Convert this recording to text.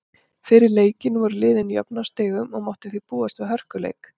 Fyrir leikinn voru liðin jöfn á stigum og mátti því búast við hörkuleik.